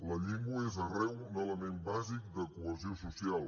la llengua és arreu un element bàsic de cohesió social